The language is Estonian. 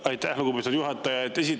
Aitäh, lugupeetud juhataja!